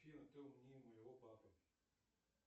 афина ты умнее моего папы